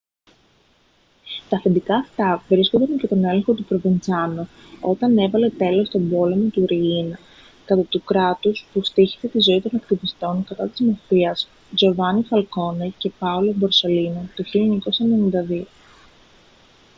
τα αφεντικά αυτά βρίσκονταν υπό τον έλεγχο του προβεντσάνο όταν έβαλε τέλος στον πόλεμο του ριίνα κατά του κράτους που στοίχησε τη ζωή των ακτιβιστών κατά της μαφίας τζοβάνι φαλκόνε και πάολο μπορσελίνο το 1992»